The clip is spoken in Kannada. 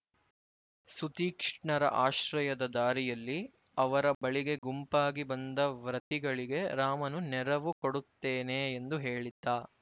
ಸುತೀಕ್ಷ್ಣರ ಆಶ್ರಯದ ದಾರಿಯಲ್ಲಿ ಅವರ ಬಳಿಗೆ ಗುಂಪಾಗಿ ಬಂದ ವ್ರತಿಗಳಿಗೆ ರಾಮನು ನೆರವು ಕೊಡುತ್ತೇನೆ ಎಂದು ಹೇಳಿದ್ದ